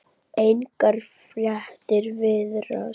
Engar fréttir virðast